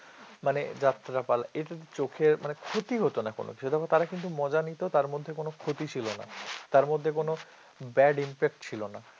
মানে যাত্রাপালা এটাতো চোখের মানে ক্ষতি হতো না কোন সেজন্য তারা কিন্তু মজা নিত তার মধ্যে কোন ক্ষতি ছিল না তার মধ্যে কোন bad impact ছিল না